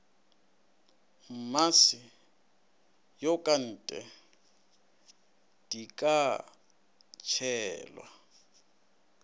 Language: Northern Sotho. mmase yokate di ka tšhelwa